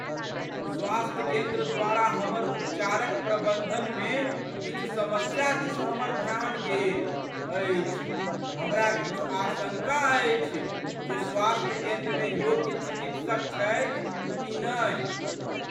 स्वास्थ्य केन्द्र द्वारा हमर उपचारक प्रबन्धनमे किछु समस्या दिस हमर ध्यान गेल अछि । हमरा किछु आशङ्का अछि जे स्वास्थ्य केन्द्रमे योग्य चिकित्सक छथि कि नहि।